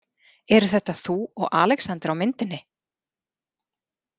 Eru þetta þú og Alexander á myndinni?